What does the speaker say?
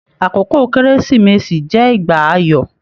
Àkókò kérésìmesì jẹ ìgbà ayọ.